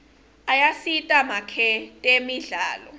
ayasita makwetemidlalo